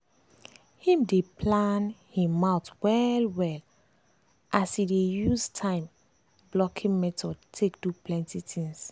him dey plan him month well well as e dey use time blocking method take do plenty things.